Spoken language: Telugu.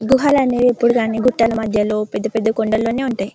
గుహలనేవి ఎప్పుడు దాని గుట్టల మధ్యలో పెద్ద పెద్ద కొండలోనే ఉంటాయి. .